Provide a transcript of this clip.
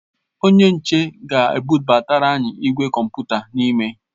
Onye nche ga ebụbatara anyi igwe kọmputa n'ime